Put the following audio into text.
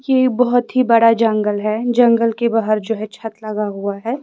ये बहोत ही बड़ा जंगल है जंगल के बाहर जो है छत लगा हुआ है।